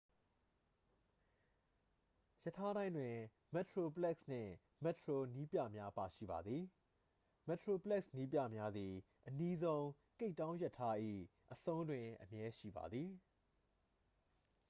ရထားတိုင်းတွင် မက်တရိုပလက်စ် နှင့် မက်တရို နည်းပြများပါရှိပါသည် မက်တရိုပလက်စ် နည်းပြများသည် အနီးဆုံး ကိပ်တောင်း ရထား၏အဆုံးတွင် အမြဲရှိပါသည်